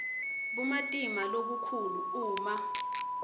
bumatima lobukhulu uma